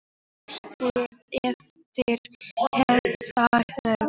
Í lífshættu eftir hnefahögg